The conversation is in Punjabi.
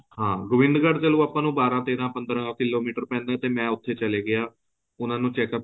ਹਾਂ ਗੋਬਿੰਦਗੜ ਚਲੋਂ ਆਪਾਂ ਨੂੰ ਬਾਰਾਂ ਤੇਰਾਂ ਪੰਦਰਾਂ ਕਿਲੋਮੀਟਰ ਪੈਂਦਾ ਤੇ ਮੈਂ ਉਥੇ ਚਲਾ ਗਿਆ ਉਹਨਾ ਨੂੰ checkup